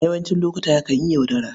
A yawancin lokuta, yakan yi yaudara.